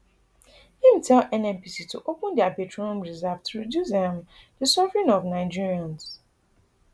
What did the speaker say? im tell nnpc to open dia petroleum reserve to reduce um di suffering of nigerians